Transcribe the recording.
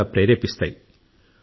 అవి కూడా ప్రేరేపిస్తాయి